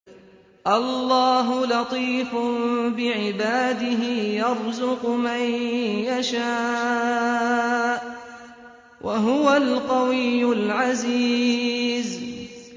اللَّهُ لَطِيفٌ بِعِبَادِهِ يَرْزُقُ مَن يَشَاءُ ۖ وَهُوَ الْقَوِيُّ الْعَزِيزُ